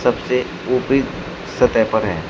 से ऊपरी सतह पर है।